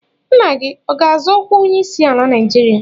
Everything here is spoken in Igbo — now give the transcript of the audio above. Nna gị ọ ga-azọ ọkwa onyeisiala Naijiria?